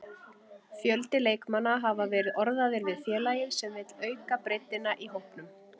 Fjöldi leikmanna hafa verið orðaðir við félagið sem vill auka breiddina í hópnum.